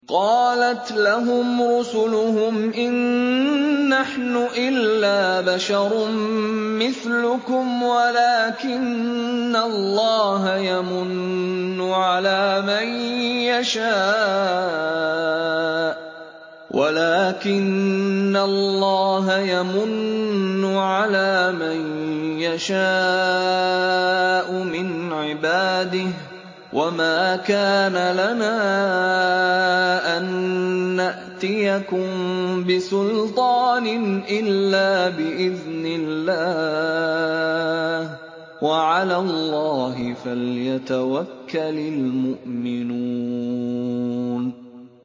قَالَتْ لَهُمْ رُسُلُهُمْ إِن نَّحْنُ إِلَّا بَشَرٌ مِّثْلُكُمْ وَلَٰكِنَّ اللَّهَ يَمُنُّ عَلَىٰ مَن يَشَاءُ مِنْ عِبَادِهِ ۖ وَمَا كَانَ لَنَا أَن نَّأْتِيَكُم بِسُلْطَانٍ إِلَّا بِإِذْنِ اللَّهِ ۚ وَعَلَى اللَّهِ فَلْيَتَوَكَّلِ الْمُؤْمِنُونَ